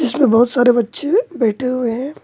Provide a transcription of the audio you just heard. इसमें बहोत सारे बच्चे हैं बैठे हुए हैं।